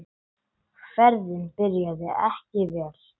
Ferðin byrjaði ekki vel.